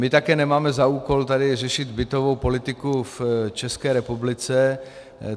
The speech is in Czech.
My také nemáme za úkol tady řešit bytovou politiku v České republice.